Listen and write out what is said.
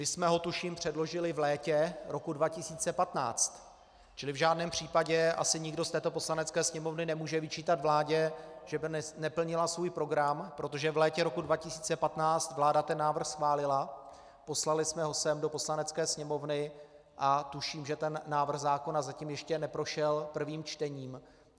My jsme ho, tuším, předložili v létě roku 2015, čili v žádném případě asi nikdo z této Poslanecké sněmovny nemůže vyčítat vládě, že by neplnila svůj program, protože v létě roku 2015 vláda ten návrh schválila, poslali jsme ho sem do Poslanecké sněmovny a tuším, že ten návrh zákona zatím ještě neprošel prvním čtením.